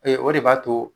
o de b'a to